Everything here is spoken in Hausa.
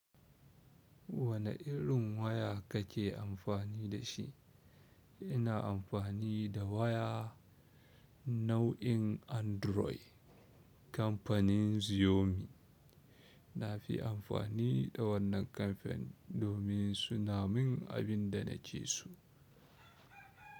Wane irin waya kake amfani da shi? Ina amfani da waya nau'in android kamfanin Xiaomi, nafi amfani da wannan ƙarfen domin suna min abinda nake so.